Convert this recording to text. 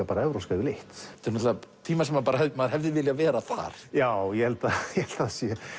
bara evrópska yfirleitt þetta eru tímar sem maður hefði viljað vera þar já ég held að það